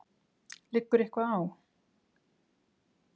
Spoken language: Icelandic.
Liggur eitthvað á?